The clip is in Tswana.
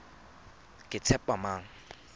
ketshepamang